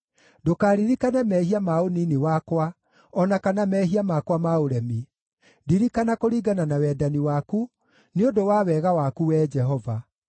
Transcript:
Ndũkaririkane mehia ma ũnini wakwa, o na kana mehia makwa ma ũremi; ndirikana kũringana na wendani waku, nĩ ũndũ wa wega waku, Wee Jehova.